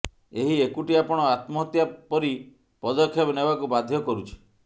ଏହି ଏକୁଟିଆପଣ ଆତ୍ମହତ୍ୟା ପରି ପଦକ୍ଷେପ ନେବାକୁୂ ବାଧ୍ୟ କରୁଛି